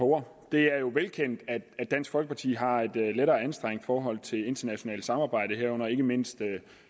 ord det er jo velkendt at dansk folkeparti har et lettere anstrengt forhold til internationalt samarbejde herunder ikke mindst